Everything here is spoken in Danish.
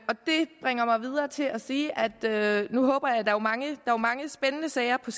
det bringer mig videre til at sige at der jo er mange spændende sager på